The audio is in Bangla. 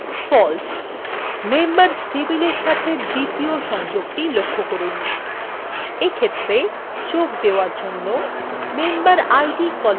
members table সাথে দ্বিতীয় সংযোগটি লক্ষ্য করুন এক্ষেত্রে যোগ দেওয়ার জন্য memberid column ব্যবহার করা হয়েছে